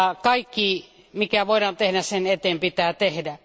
Kaikki, mikä voidaan tehdä sen eteen, pitää tehdä.